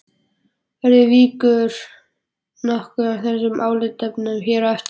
Verður vikið nokkuð að þessum álitaefnum hér á eftir.